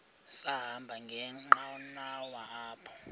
sahamba ngenqanawa apha